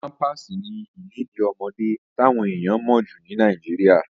Pámpàsì ni ìlèdí ọmọdé táwọn èèyàn mọ̀ jù ní Nàìjíríà.